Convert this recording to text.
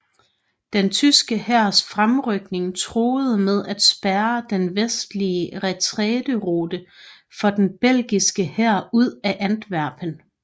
Den tyske hærs fremrykning truede med at spærre den vestlige retræterute for den belgiske hær ud af Antwerpen